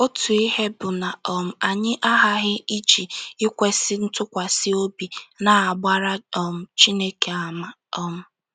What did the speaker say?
Otu ihe bụ na um anyị aghaghị iji ikwesị ntụkwasị obi na-agbara um Chineke àmà. um